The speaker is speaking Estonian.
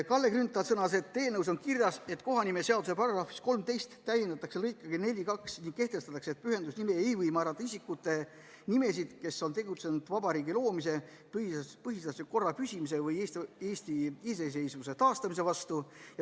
Kalle Grünthal sõnas, et eelnõus on kirjas, et kohanimeseaduse § 13 täiendatakse lõikega 42 ning kehtestatakse, et pühendusnimeks ei või määrata isikute nimesid, kes on tegutsenud vabariigi loomise, põhiseadusliku korra püsimise või Eesti iseseisvuse taastamise vastu.